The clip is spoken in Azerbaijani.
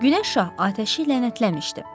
Günəş şah atəşi lənətləmişdi.